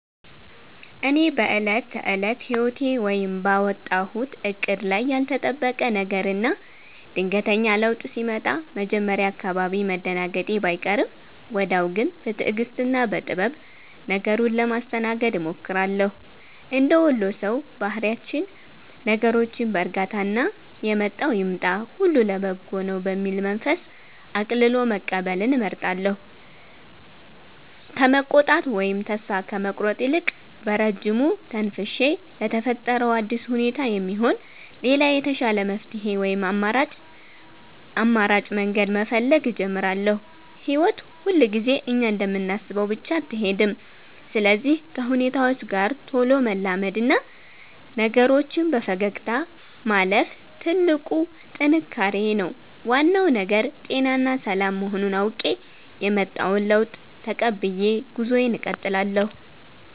እኔ በዕለት ተዕለት ሕይወቴ ወይም ባወጣሁት ዕቅድ ላይ ያልተጠበቀ ነገርና ድንገተኛ ለውጥ ሲመጣ መጀመሪያ አካባቢ መደናገጤ ባይቀርም፣ ወዲያው ግን በትዕግሥትና በጥበብ ነገሩን ለማስተናገድ እሞክራለሁ። እንደ ወሎ ሰው ባህሪያችን ነገሮችን በዕርጋታና «የመጣው ይምጣ፣ ሁሉ ለበጎ ነው» በሚል መንፈስ ቀልሎ መቀበልን እመርጣለሁ። ከመቆጣት ወይም ተስፋ ከመቁረጥ ይልቅ፣ በረጅሙ ተንፍሼ ለተፈጠረው አዲስ ሁኔታ የሚሆን ሌላ የተሻለ መፍትሔ ወይም አማራጭ መንገድ መፈለግ እጀምራለሁ። ሕይወት ሁልጊዜ እኛ እንደምናስበው ብቻ አትሄድም፤ ስለዚህ ከሁኔታዎች ጋር ቶሎ መላመድና ነገሮችን በፈገግታ ማለፍ ትልቁ ጥንካሬዬ ነው። ዋናው ነገር ጤናና ሰላም መሆኑን አውቄ፣ የመጣውን ለውጥ ተቀብዬ ጉዞዬን እቀጥላለሁ።